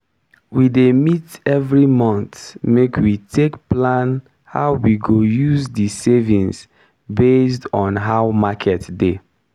we dey meet evri month make we take plan how we go use di savings based on how market dey.